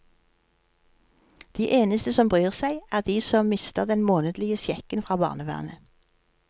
De eneste som bryr seg, er de som mister den månedlige sjekken fra barnevernet.